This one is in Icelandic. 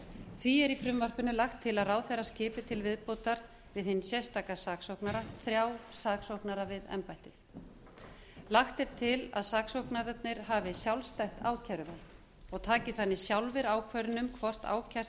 því er í frumvarpinu lagt til að ráðherra skipi til viðbótar við hinn sérstaka saksóknara þrjá saksóknara við embættið lagt er til að saksóknararnir hafi sjálfstætt ákæruvald og taki þannig sjálfur ákvörðun um hvort ákært